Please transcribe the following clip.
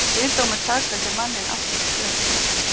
Kviðdómur sakfelldi manninn aftur í sumar